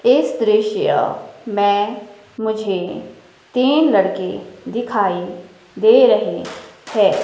इस दृश्य में मुझे तीन लड़के दिखाई दे रहे हैं।